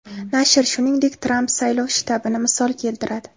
Nashr, shuningdek, Tramp saylov shtabini misol keltiradi.